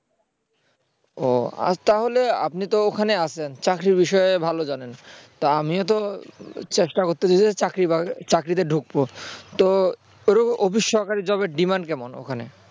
ও তাহলে আপনি তো ওখানে আছেন চাকরির বিষয় ভালো জানেন তা আমিও তো চেষ্টা করতেছি যে চাকরি-বাকরি চাকরিতে ঢুকবো তো অফিস সহকারী job এর demand কেমন ওখানে